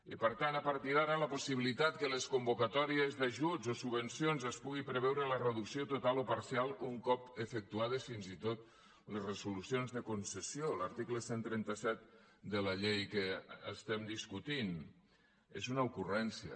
i per tant a partir d’ara la possibilitat que a les convocatòries d’ajuts o subvencions es pugui preveure la reducció total o parcial un cop efectuades fins i tot les resolucions de concessió l’article cent i trenta set de la llei que discutim és una ocurrència